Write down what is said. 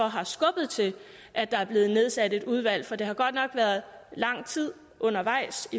har skubbet til at der er blevet nedsat et udvalg for det har godt nok været lang tid undervejs